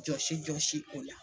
Jɔsi jɔsi o la.